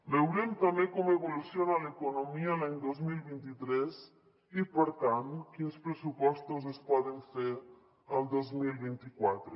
veurem també com evoluciona l’economia l’any dos mil vint tres i per tant quins pressupostos es poden fer el dos mil vint quatre